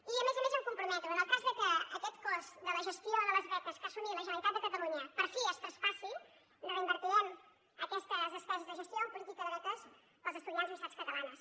i a més a més em comprometo que en el cas que aquest cost de la gestió de les beques que ha assumit la generalitat de catalunya per fi es traspassi reinvertirem aquestes des·peses de gestió en política de beques per als estudiants de les universitats catalanes